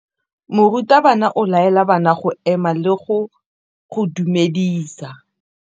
Morutabana o tla laela bana go ema le go go dumedisa.